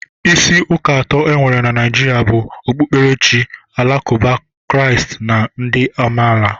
Isi ụka atọ enwere na Naijiria bụ okpukperechi alakụba, Kraist na ndị amaala.